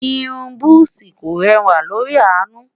irún buzi kò rẹwa lórí anu